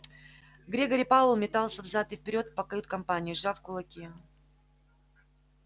грегори пауэлл метался взад и вперёд по кают-компании сжав кулаки